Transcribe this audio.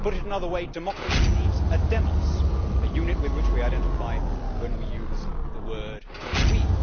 To put it in another way, democracy needs a demos', a unit with which we identify when we use the word we'.